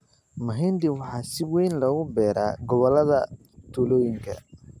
Mahindi waxaa si weyn loogu beeraa gobollada tuulooyinka.